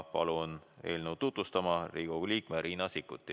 Palun eelnõu tutvustama Riigikogu liikme Riina Sikkuti.